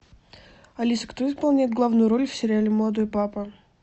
алиса кто исполняет главную роль в сериале молодой папа